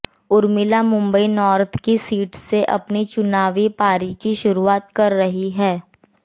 Urmila Mumbai north की seat से अपनी चुनावी पारी की शुरुआत कर रही हैं